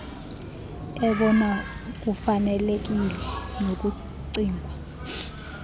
ebona kufanelekile nokucingwa